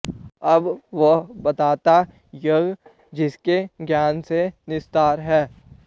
अब वह बताता ज्ञेय जिसके ज्ञान से निस्तार है